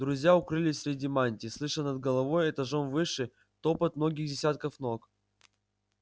друзья укрылись среди мантий слыша над головой этажом выше топот многих десятков ног